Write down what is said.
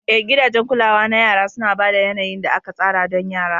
Eh, gidajen kulawa na yara suna ba da yanayin da aka tsara don yara.